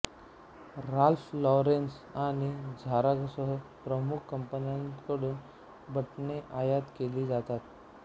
Ralph Lauren आणि झारासह प्रमुख कंपन्यांकडून बटणे आयात केली जातात